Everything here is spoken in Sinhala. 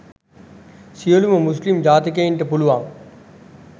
සියලුම මුස්‌ලිම් ජාතිකයන්ට පුළුවන්